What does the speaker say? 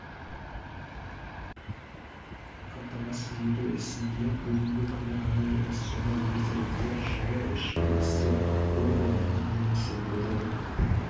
қамтамасыз ету ісінде бүгінгі күні ғана емес сонау ертеректе жылы ішкі істер органының немесе бұрын